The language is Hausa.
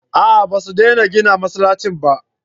a'a ba su dena gina masallaci ba